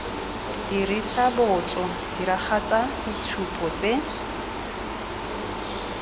dirisa botso diragatsa ditshupo tse